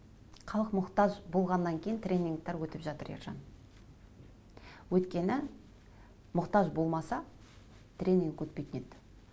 халық мұқтаж болғаннан кейін тренингтер өтіп жатыр ержан өйткені мұқтаж болмаса тренинг өтпейтін еді